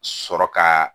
Sɔrɔ ka